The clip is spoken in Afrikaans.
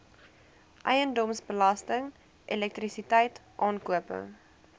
eiendomsbelasting elektrisiteit aankope